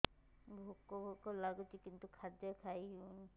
ଭୋକ ଭୋକ ଲାଗୁଛି କିନ୍ତୁ ଖାଦ୍ୟ ଖାଇ ହେଉନି